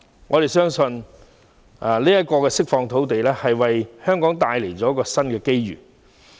我們相信這次釋放土地，將會為香港締造新的機遇。